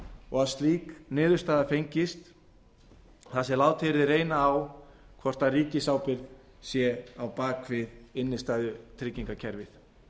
og að slík niðurstaða fengist þar sem látið yrði reyna á hvort ríkisábyrgð sé á bak við innstæðutryggingakerfið